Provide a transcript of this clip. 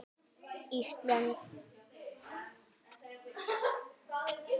Ísköld þögnin.